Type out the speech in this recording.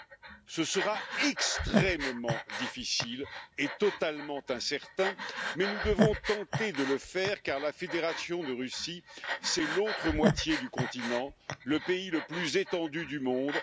Non, ce sera extrêmement difficile et totalement incertain, mais nous devons tenter de le faire car la Fédération de Russie, c'est l'autre moitié du continent, le pays le plus étendu du monde